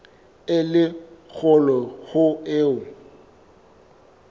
e le kgolo ho eo